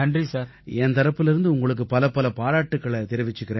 என் தரப்பிலேர்ந்து உங்களுக்கு பலப்பல பாராட்டுக்களைத் தெரிவிச்சுக்கறேன்